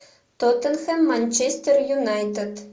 тоттенхэм манчестер юнайтед